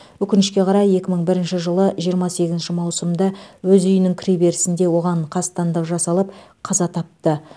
өкінішке қарай екі мың бірінші жылы жиырма сегізінші маусымда өз үйінің кіре берісінде оған қастандық жасалып қаза тапты